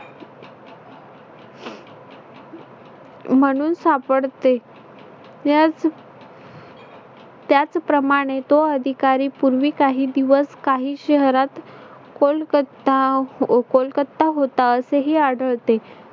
म्हणून सापडते यांस त्याचप्रमाणे तो अधिकारी पूर्वी काही दिवस काही शहरात कोलकत्ता कोलकत्ता होता असेही आढळते.